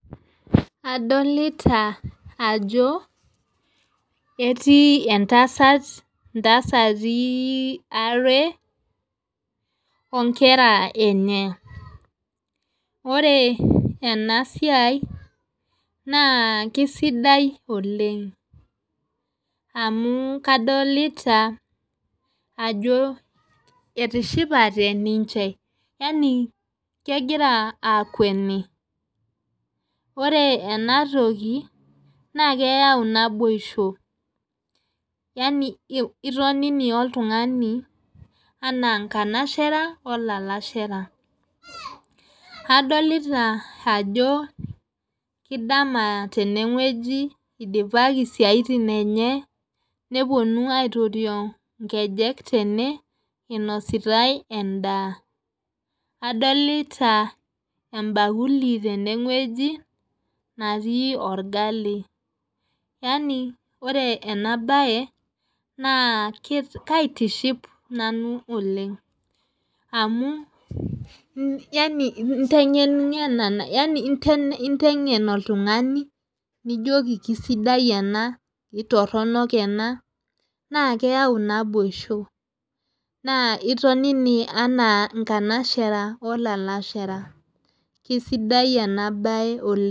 Adolita ajo etii entasat tasati are onkera enye ore ena siai naa kisidai oleng amu kadolita ajo etishipate ninche yaani kegira akweni ore ena toki naa keyau naboisho yaani intonini oltungani enaa inkanashara olalashera adolita ajo kidama tene weuji idipaki isiaitin enye neponunui neponu aitorio nkejek tene inositae endaa adolita ebakuli tene wueji natii orgali yaani ore ena bae naa kaitiship nanu oleng amu yaani intengenina oltungani nijoki aisidai ena aitorono ena naa keyau ina naboisho naa intonini enaa inkanashara olalashera kisidai ena bae oleng.